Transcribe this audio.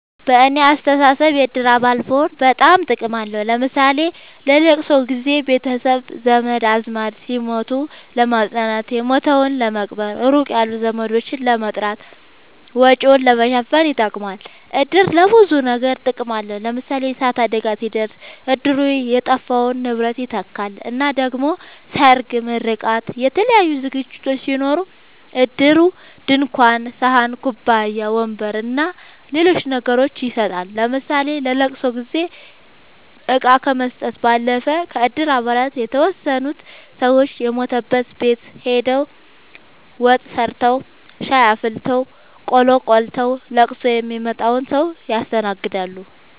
በኔ አስተሳሰብ የእድር አባል መሆን በጣም ጥቅም አለዉ ለምሳሌ ለለቅሶ ጊዘ ቤተሰብ ዘመድአዝማድ ሲሞት ለማጽናናት የሞተዉን ለመቅበር ሩቅ ያሉ ዘመዶችን ለመጥራት ወጪን ለመሸፈን ይጠቅማል። እድር ለብዙ ነገር ጥቅም አለዉ ለምሳሌ የእሳት አደጋ ሲደርስ እድሩ የጠፋውን ንብረት ይተካል እና ደሞ ሰርግ ምርቃት የተለያዩ ዝግጅቶች ሲኖሩ እድሩ ድንኳን ሰሀን ኩባያ ወንበር አና ሌሎች ነገሮችን ይሰጣል ለምሳሌ ለለቅሶ ጊዜ እቃ ከመስጠት ባለፈ ከእድር አባላት የተወሰኑት ሰወች የሞተበት ቤት ሆደው ወጥ ሰርተዉ ሻይ አፍልተው ቆሎ ቆልተዉ ለቅሶ ሚመጣዉን ሰዉ ያስተናግዳሉ።